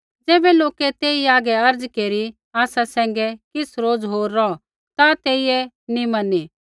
ज़ैबै लोकै तेई हागै अर्ज़ केरी आसा सैंघै किछ़ रोज़ होर रौह ता तेइयै नी मैनी